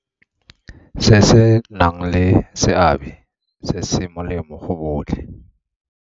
Se se nang le seabe se se molemo go botlhe.